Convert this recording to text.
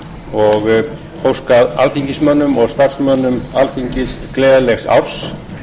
ég óska alþingismönnum og starfsmönnum alþingis gleðilegs árs